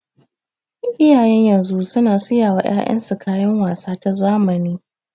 Iyayen yanzu suna siya wa 'ya'yan su kayan wasa ta zamani.